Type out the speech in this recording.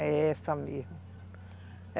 É essa mesmo.